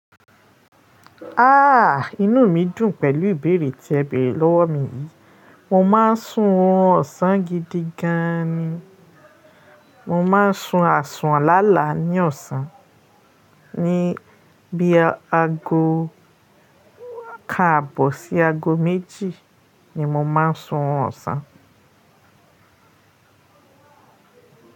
Ha! Inú mi dùn pẹ̀lú ìbéèrè tí ẹ bèrè lọ́wọ́ mi yìí. Mo máa ń sùn ọrùn ọ̀sán gidi gan ni. Mo ma ń sùn àsùn lálàá ní ọ̀sán. Ní bí aago kan àbọ̀ sí aago méjì ni mo máa ń sùn ọrùn ọ̀sán.